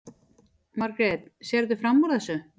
Margrét: Sérðu fram úr þessu?